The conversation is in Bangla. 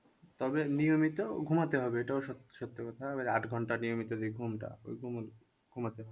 তবে নিয়মিত ঘুমাতে হবে এটাও সত্য কথা এবার আট ঘন্টা নিয়মিত যে ঘুমটা ওই ঘুমাতে